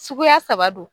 Suguya saba don